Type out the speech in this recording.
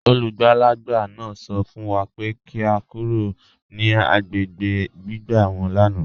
Olúgbálàgbà náà sọ̀ fún wà pé kí à lọ̀ kúrò ní agbègbè gbìgbà wọn lánà.